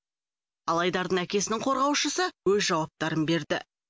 ал айдардың әкесінің қорғаушысы өз жауаптарын берді